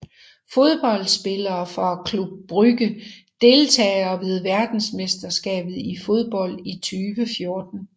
Fodboldspillere fra Club Brugge Deltagere ved verdensmesterskabet i fodbold 2014